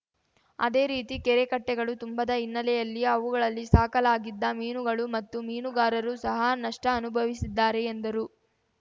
ಅದೇ ರೀತಿ ಕೆರೆ ಕಟ್ಟೆಗಳು ತುಂಬದ ಹಿನ್ನೆಲೆಯಲ್ಲಿ ಅವುಗಳಲ್ಲಿ ಸಾಕಲಾಗಿದ್ದ ಮೀನುಗಳು ಮತ್ತು ಮೀನುಗಾರರೂ ಸಹ ನಷ್ಟಅನುಭವಿಸಿದ್ದಾರೆ ಎಂದರು